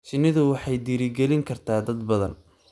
Shinnidu waxay dhiirigelin kartaa dad badan.